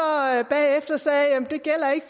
bagefter sagde det gælder ikke